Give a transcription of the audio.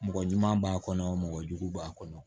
Mɔgɔ ɲuman b'a kɔnɔ mɔgɔ jugu b'a kɔnɔ